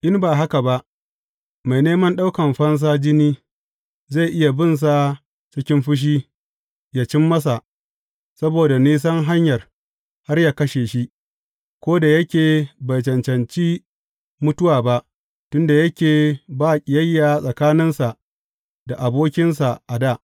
In ba haka ba mai neman ɗaukan fansa jini, zai iya binsa cikin fushi, yă cim masa, saboda nisan hanyar, har ya kashe shi, ko da yake bai cancanci mutuwa ba, tun da yake ba ƙiyayya tsakaninsa da abokinsa a dā.